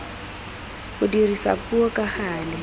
go dirisa puo ka gale